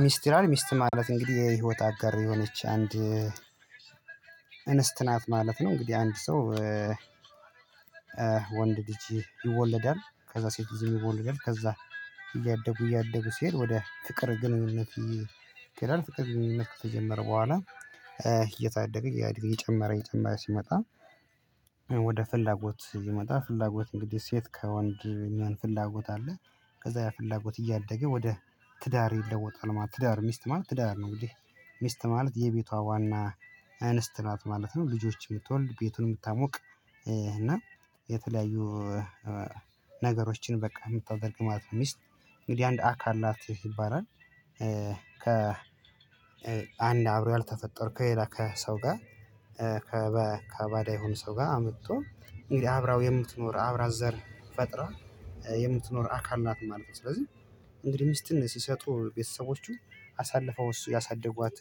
ሚስት ይላል ሚስት ማለት እንግዲህ የህይወት አጋር የሆነች አንድ እንስት ናት ማለት ነው። እንግዲህ አንድ ሰው ወንድ ልጅ ይወለዳል ከዛ ሴት ልጅም ይወለዳል ከዛ እያደጉ እያደጉ ሲሄድ ወደ ፍቅር ግንኙነት ይኬዳል። ፍቅር ግንኙነት ከተጀመረ በኋላ እየታደገ እያለ ይጨመረ ይጨመረ ሲመጣ። ወደ ፍላጎት ይመጣል ፍላጎት እንግዲህ ሴት ከወንድ የማን ፍላጎት አለ ከዛ ያ ፍላጎት እያደገ ወደ ትዳር ይለወጣል ማለት ትዳር ሚስት ማለት ትዳር ነው። እንግዲህ ሚስት ማለት የቤቷ ዋና እንስት ናት ማለት ነው። ልጆች የምትወልድ ቤቱን ምታሞቅ እና የተለያዩ ነገሮችን በቃ የምታደርግ ማለት ነው። ሚስት እንግዲህ አንድ አካል ናት ይባላል ከ አንድ አብሮ ያልተፈጠርከው ከሄላ ከሰው ጋር ከባዳ የሆኑ ሰው ጋር አምጦ እንግዲህ አብራው የምትኖር አብራ ዘር ፈጥራ የምትኖር አካል ናት ማለት ነው። ስለዚህ እንግዲህ ሚስትን ሲሰጡ ቤተሰቦቹ አሳልፈው ያሳደጓት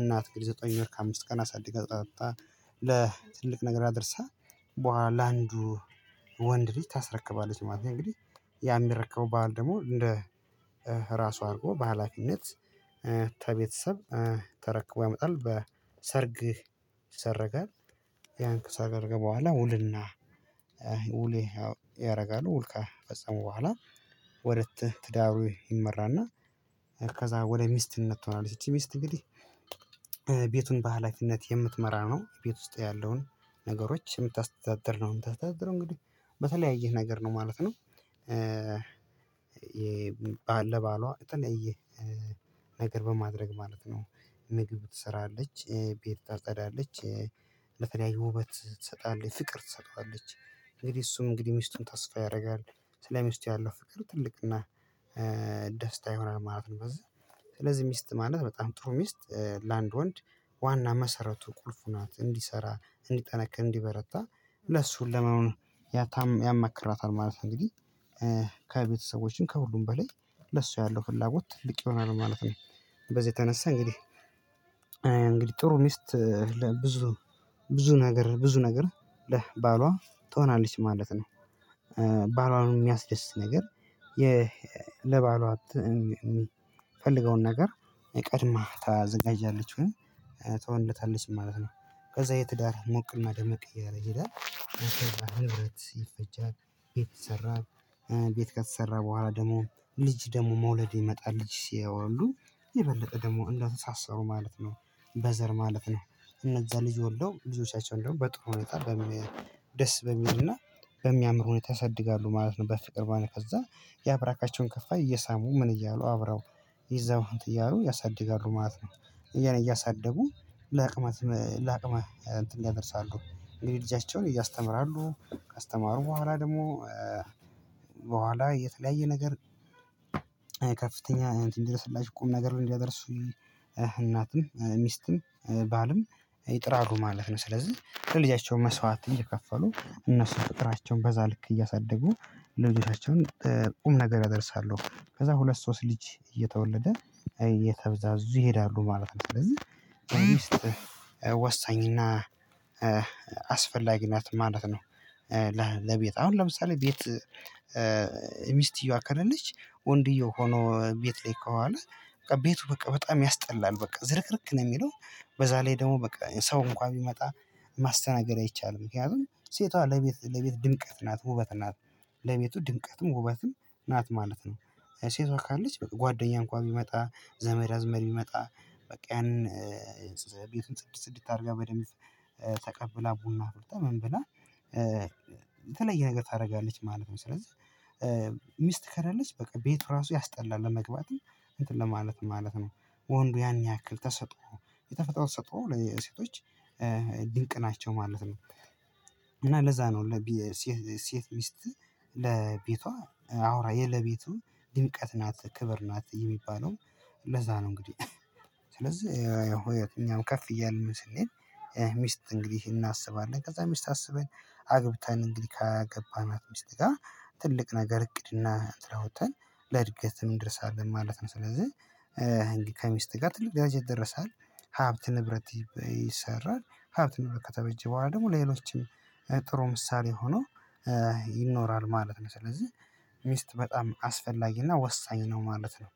እናት ዘጠኝ ወር ከአምስት ቀን አሳድጋ ጠጣ ለትልቅ ነገር አድርሳ በኋላ አንዱ ወንድ ልጅ ታስረክባለች ማለት ነው። እንግዲህ ያ ሚረከበው ባህል ደግሞ እንደ ራሱ አድርጎ በሃላፊነት ተቤተሰብ ተረክቦ ያመጣል በሰርግ ይሰረጋል። ያን ከሰርገ በኋላ ውልና ውሌ ያው ያረጋሉ ውል ከፈጸሙ በኋላ ወደ ትዳሩ ይመራና ከዛ ወደ ሚስትነት ትሆናለች። ይቺ ሚስት እንግዲህ ቤቱን በሃላፊነት የምትመራ ነው ቤት ውስጥ ያለውን ነገሮች የምታስተዳድር ነው የምታስተዳድረው እንግዲህ በተለያየ ነገር ነው ማለት ነው። ባል ለባሏ የተለየ ነገር በማድረግ ማለት ነው ምግብ ትሰራለች ቤት ታፀዳለች ለተለያዩ ውበት ትሰጣለች ፍቅር ትሰጠዋለች። እንግዲህ እሱም እንግዲህ ሚስቱን ተስፋ ያረጋል ስለ ሚስቱ ያለው ፍቅር ትልቅና ደስታ ይሆናል ማለት ነው። በዚ ስለዚህ ሚስት ማለት በጣም ጥሩ ሚስት ለአንድ ወንድ ዋና መሰረቱ ቁልፉ ናት እንዲሰራ እንዲጠነክር እንዲበረታ ለሱ ለመሆን ያማክራታል ማለት እንግዲህ ከቤተሰቦችም ከሁሉም በላይ ለሱ ያለው ፍላጎት ትልቅ ይሆናል ማለት ነው። በዚህ የተነሳ እንግዲህ እንግዲህ ጥሩ ሚስት ለብዙ ብዙ ነገር ብዙ ነገር ለባሏ ትሆናለች ማለት ነው። ባሏን የሚያስደስት ነገር የ ለባሏ የሚፈልገውን ነገር የቀድማ ታዘጋጃለች ወይ ትሆንለታለች ማለት ነው። ከዛ ይሄ ትዳር ሞቅና ደመቅ እያለ ይሄዳል ንብረት ይፈጃል ቤት ይሰራል። ቤት ከተሰራ በኋላ ደግሞ ልጅ ደግሞ መውለድ ይመጣል ልጅ ሲወልዱ የበለጠ ደግሞ እንደተሳሰሩ ማለት ነው። በዘር ማለት ነው እነዛ ልጅ ወልደው ልጆቻቸውን ደግሞ በጥሩ ሁኔታ በሚል ደስ በሚልና በሚያምር ሁኔታ ያሳደጋሉ ማለት ነው። በፍቅር ከዛ ያብራካቸውን ከፋይ እየሳሙ ምን እያሉ አብረው ይዘው እንትን እያሉ ያሳድጋሉ ማለት ነው። እያሳደጉ ለአቅመ ለአቅመ እንትን ያደርሳሉ እንግዲህ ልጃቻቸውን ያስተምራሉ ካስተማሩ በኋላ ደግሞ በኋላ የተለያየ ነገር ከፍተኛ እንትን እንዲደርስላቸው ቁም ነገር ነው እንዲያደርሱ እናትም ሚስትም ባልም ይጥራሉ ማለት ነው። ስለዚህ ለልጃቸው መስዋዕት እየከፈሉ እነሱ ቁጥራቸውን በዛ ልክ እያሳደጉ ልጆቻቸውን ቁም ነገር እደርሳለሁ ከዛ ሁለት ሶስት ልጅ እየተወለደ እየተበዛዙ ይሄዳሉ ማለት ነው ስለዚህ ሚስት ወሳኝና አስፈላጊ ናት ማለት ነው። ለቤት አሁን ለምሳሌ ቤት ሚስትየዋ ከሌለች ወንድየው ሆኖ ቤት ላይ ከዋለ ቤቱ በቃ በጣም ያስጠላል በቃ ዝርክርክ ነው። የሚለው በዛ ላይ ደግሞ በቃ ሰው እንኳን ቢመጣ ማስተናገድ አይቻልም። ምክንያቱም ሴቷ ለቤት ለቤት ድምቀት ናት ውበት ናት። ለቤቱ ድምቀትም ውበትም ናት ማለት ነው። ሴቷ ካለች ጓደኛ እንኳን ቢመጣ ዘመድ አዝማድ ቢመጣ በቃ ያንን ቤቱን ጽድት ጽድት አድርጋ በደንብ ተቀብላ ቡና አፍልታ ምንብላ የተለየ ነገር ታደርጋለች ማለት ነው። ስለዚህ ሚስት ከለለች በቃ ቤቱ ራሱ ያስጠላል ለመግባትም እንትን ለማለትም ማለት ነው። ወንዱ ያን ያክል ተሰጥኦ የተፈጥሮ ተሰጥኦ ሴቶች ድንቅ ናቸው ማለት ነው። እና ለዛ ነው ሴት ሚስት ለቤቷ አውራ የለቤቱ ድምቀት ናት ክብር ናት የሚባለው ለዛ ነው። እንግዲህ ስለዚህ ያው እኛም ከፍ እያልን ስኔድ ሚስት እንግዲህ እናስባለን ከዛ ሚስት አስበን አግብተን እንግዲህ ካገባናት ሚስት ጋ ትልቅ ነገር እቅድና እንትን አውጠን ለእድገትም እንደርሳለን ማለት ነው። ስለዚህ ከሚስት ጋር ትልቅ ደረጃ ይደረሳል ሀብት ንብረት ይሰራል። ሀብት ንብረት ከተበጀ በኋላ ደግሞ ሌሎችም ጥሩ ምሳሌ ሆኖ ይኖራል ማለት ነው። ስለዚህ ሚስት በጣም አስፈላጊና ወሳኝ ነው ማለት ነው።